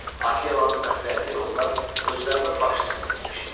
Akelanın məsləhəti ilə onlar özlərinə başçı seçmişdilər.